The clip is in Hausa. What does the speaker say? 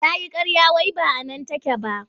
Ta yi ƙarya wai ba a nan take ba.